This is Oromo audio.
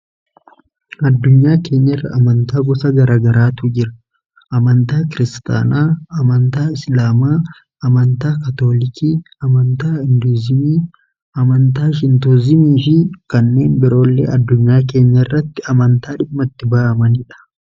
addunyaa keenya irra amantaa gosa garagaraatu jira amantaa kiristaanaa amantaa isilaamaa amantaa kaatoolikii amantaa induzimii amantaa shintozimii fii kanneen biroollee addunyaa kenya irratti amantaa dhimma itti ba'amaniidha.